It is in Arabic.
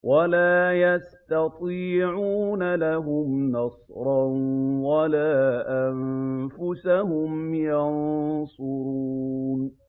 وَلَا يَسْتَطِيعُونَ لَهُمْ نَصْرًا وَلَا أَنفُسَهُمْ يَنصُرُونَ